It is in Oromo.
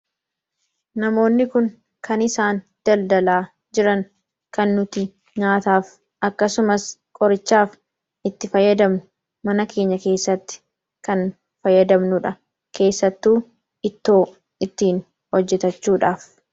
Namoonni Kun kan isaan daldalaa jiran, kan nuti nyaataaf akkasumas qorichaaf itti fayyadamnu mana keenya keessatti kan fayyadamnudha. Keessattuu ittoo ittiin hojjetachuudhaaf.